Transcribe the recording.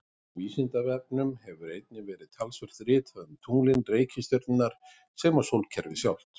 Á Vísindavefnum hefur einnig verið talsvert ritað um tunglin, reikistjörnurnar sem og sólkerfið sjálft.